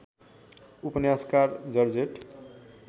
उपन्यासकार जर्जेट